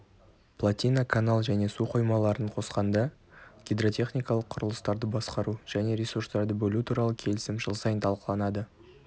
плотина канал және су қоймаларын қосқанда гидротехникалық құрылыстарды басқару және ресурстарды бөлу туралы келісім жыл сайын талқыланады